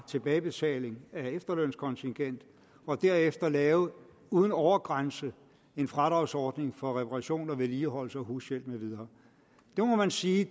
tilbagebetaling af efterlønskontingent og derefter lave uden overgrænse en fradragsordning for reparation og vedligeholdelse og hushjælp med videre det må man sige